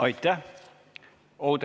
Aitäh!